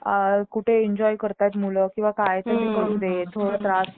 कुठे enjoy करतोय मुलं किंवा काय तर त्यांना करू दे थोडा त्रास